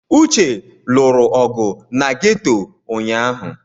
Uche lụrụ ọgụ na ghetọ ụnyahụ.